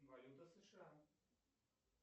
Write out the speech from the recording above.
валюта сша